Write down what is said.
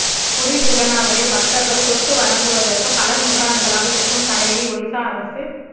புரி ஜெகந்நாதரை பக்தர்கள் தொட்டு வணங்குவதற்கு பல நூற்றாண்டுகளாக இருக்கும் தடையை ஒடிஸா அரசு